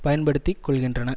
பயன்படுத்தி கொள்கின்றன